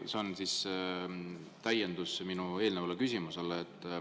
See on siis täiendus minu eelnevale küsimusele.